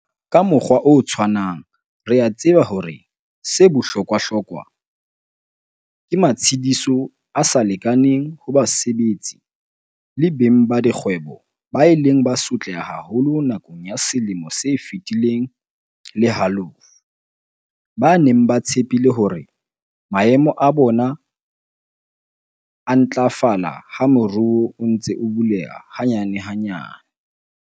Ka mokgwa o tshwanang re a tseba hore 'se bohlokwahlokwa' ke matshediso a sa lekaneng ho basebetsi le beng ba dikgwebo ba ileng ba sotleha haholo nakong ya selemo se feti leng le halofo, ba neng ba tshepile hore maemo a bona a ntlafala ha moruo o ntse o buleha hanyanehanyane.